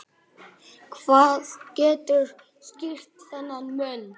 Hvað getur skýrt þennan mun?